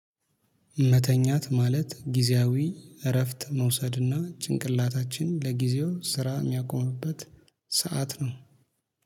መተኛት ማለት ጊዜያዊ እረፍት መውሰድና ጭንቅላታችን ለጊዜው ስራ የሚያቆምበት ሰዓት ነው።